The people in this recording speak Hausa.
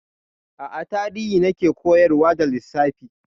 A'a, Tarihi na ke koyarwa ba Lissafi.